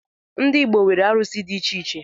Ndi Igbo nwere arụsi ̣ di icheiche